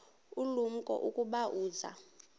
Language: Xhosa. ulumko ukuba uza